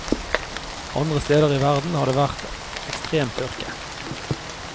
Andre steder i verden har det vært ekstrem tørke.